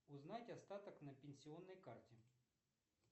узнать остаток на пенсионной карте